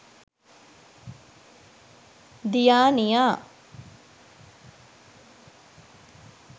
diyaniya